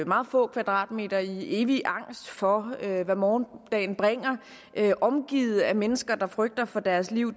meget få kvadratmeter i evig angst for hvad morgendagen bringer omgivet af mennesker der frygter for deres liv